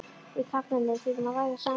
Við karlmennirnir þurfum að ræða saman.